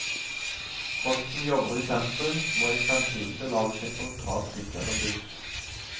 Folk som jobber i sentrum, må i fremtiden belage seg på å ta trikk eller buss.